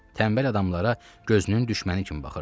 Tənbəl adamlara gözünün düşməni kimi baxırdı.